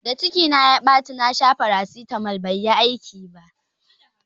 Da ciki na ya ɓaci na sha farasitamol bai yi aiki ba